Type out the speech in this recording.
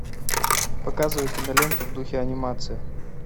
показывай киноленту в духе анимации